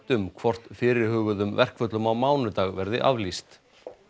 um hvort fyrirhuguðum verkföllum á mánudag verði aflýst